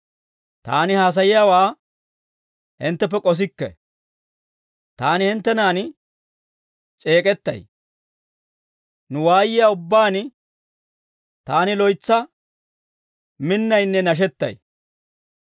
Taani haasayiyaawaa hintteppe k'osikke; taani hinttenan c'eek'ettay; nu waayiyaa ubbaan taani loytsa minnaynne nashettay.